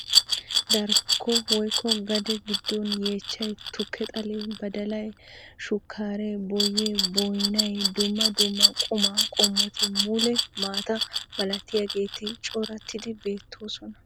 Darkko woykko gade giddon yeechchay, tukke xalee, badalay, sukkaaree boyyee, boynay, dumma dumma qumaa qommoti mule maata malatiyageeti corattidi beettoosona.